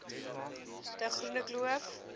de groene kloof